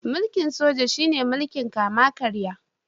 Mulkin Soja shi ne mulkin kama karya.